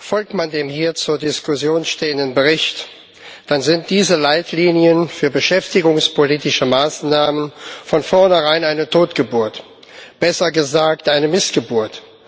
Folgt man dem hier zur Diskussion stehenden Bericht, dann sind diese Leitlinien für beschäftigungspolitische Maßnahmen von vornherein eine Totgeburt besser gesagt eine Missgeburt.